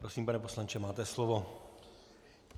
Prosím, pane poslanče, máte slovo.